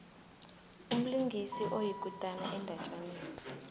umlingisi oyikutani endatjaneni